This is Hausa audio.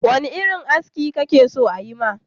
Wane irin aski kake so ayi ma?